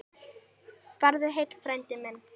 Farðu heill, frændi minn.